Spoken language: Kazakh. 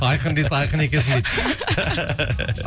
айқын десе айқын екенсің дейді